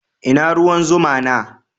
Ina ruwan zuma na?